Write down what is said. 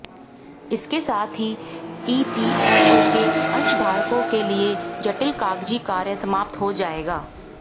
इसके साथ ही ईपीएफओ के अंशधारकों के लिए जटिल कागजी कार्य समाप्त हो जाएगा